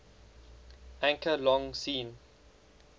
anchor long seen